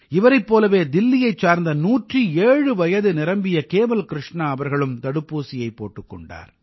இவரைப் போலவே தில்லியைச் சார்ந்த 107 வயது நிரம்பிய கேவல் கிருஷ்ணா அவர்களும் தடுப்பூசியைப் போட்டுக் கொண்டார்